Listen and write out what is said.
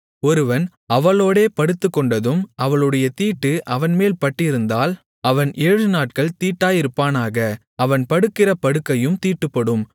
ஒருவன் அவளோடே படுத்துக்கொண்டதும் அவளுடைய தீட்டு அவன்மேல் பட்டிருந்தால் அவன் ஏழுநாட்கள் தீட்டாயிருப்பானாக அவன் படுக்கிற படுக்கையும் தீட்டுப்படும்